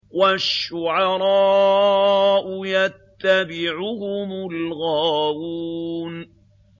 وَالشُّعَرَاءُ يَتَّبِعُهُمُ الْغَاوُونَ